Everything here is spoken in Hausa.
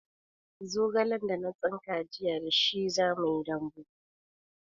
Zogalen da na tsinka jiya da shi zamuyi dambu